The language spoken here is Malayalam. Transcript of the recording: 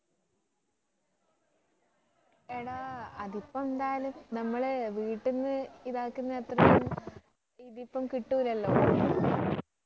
എടാ അതിപ്പോ എന്തായാലും നമ്മള് വീട്ടിന്ന് ഇതാക്കുന്ന അത്ര ഒന്നും ഇതിപ്പം കിട്ടൂല്ലല്ലോ